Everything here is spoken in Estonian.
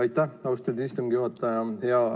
Aitäh, austatud istungi juhataja!